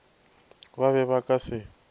ba be ba ka se